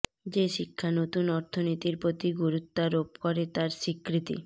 যে শিক্ষা নতুন অর্থনীতির প্রতি গুরুত্বারোপ করে তার স্বীকৃতি